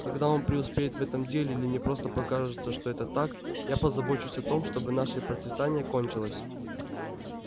когда он преуспеет в этом деле или мне просто покажется что это так я позабочусь о том чтобы наше процветание кончилось